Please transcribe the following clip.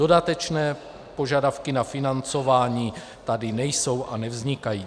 Dodatečné požadavky na financování tady nejsou a nevznikají.